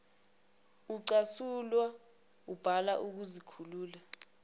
ucasulwa wubala ukuzikhulula